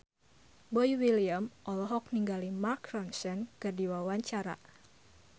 Boy William olohok ningali Mark Ronson keur diwawancara